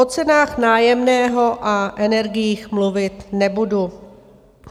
O cenách nájemného a energiích mluvit nebudu.